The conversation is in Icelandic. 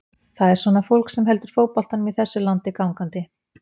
Það er svona fólk sem heldur fótboltanum í þessu landi gangandi.